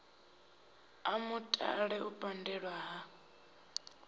a mutale u pandelwa ha